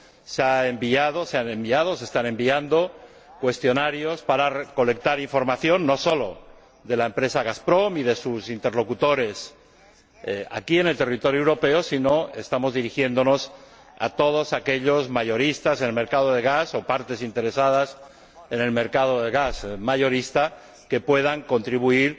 se han enviado y se están enviando cuestionarios para recolectar información, no solo de la empresa Gazprom y de sus interlocutores aquí, en el territorio europeo, sino que también estamos dirigiéndonos a todos aquellos mayoristas en el mercado del gas o partes interesadas en el mercado del gas mayorista que puedan contribuir